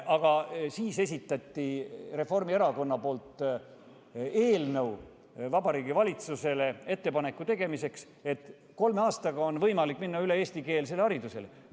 Aga siis esitas Reformierakond eelnõu teha Vabariigi Valitsusele ettepanek, et kolme aastaga on võimalik minna üle eestikeelsele haridusele.